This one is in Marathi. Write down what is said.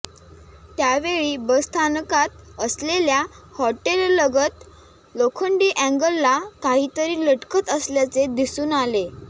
त्यावेळी बसस्थानकात असलेल्या हॉटेललगत लोखंडी अँगलला काहीतरी लटकत असल्याचे दिसून आले